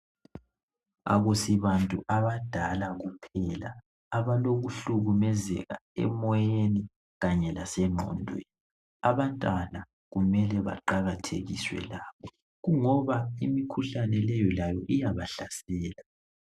Akusibantu abadala kuphela abalo kuhlukumezeka emoyeni kanye lasengqondweni. Abantwana kumele baqakathekiswe labo. Kungoba imikhuhlane leyo layo iyabahlasela.